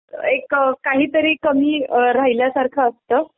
एक काही तरी कमी राहिल्यासारखं असतं.